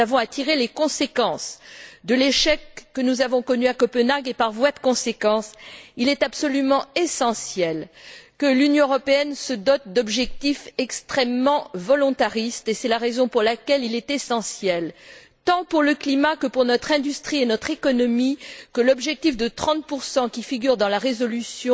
Nous avons à tirer les conséquences de l'échec que nous avons connu à Copenhague et, par voie de conséquence, il est absolument essentiel que l'Union européenne se dote d'objectifs extrêmement volontaristes, et c'est la raison pour laquelle il est essentiel, tant pour le climat que pour notre industrie et pour notre économie, que l'objectif de 30 qui figure dans la résolution